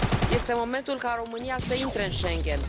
Este momentul ca România să intre în Schengen.